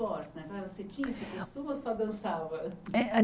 né você tinha esse costume ou só dançava?